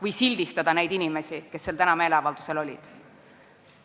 Meie asi ei ole sildistada neid inimesi, kes täna seal meeleavaldusel olid.